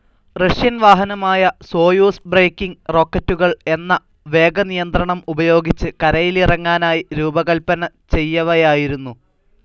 Russian വഹനമായ Soyuz braking റോക്കറ്റുകൾ എന്ന വേഗനിയന്ത്രണം ഉപയോഗിച്ച്, കരയിലിറങ്ങാനായി രൂപകൽപ്പന ചെയ്യവയായിരുന്നു.